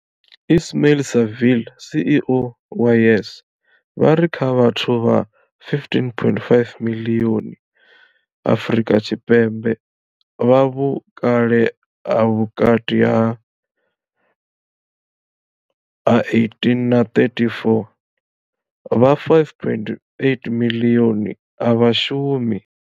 Ismail-Saville CEO wa YES, vha ri kha vhathu vha 15.5 miḽioni Afrika Tshipembe vha vhukale ha vhukati ha 18 na 34, vha 5.8 miḽioni a vha shumi.